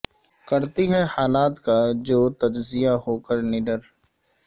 کرتی ہے حالات کا جو تجزیہ ہو کر نڈر